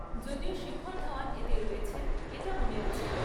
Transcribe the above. যদিও শিখর ধাওয়ান এতে রয়েছেন এটা মনে আছে।